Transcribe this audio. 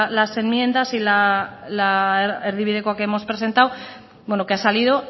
las enmiendas y la erdibidekoa que hemos presentado que ha salido